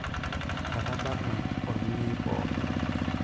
Etabarna olmunyei pookin.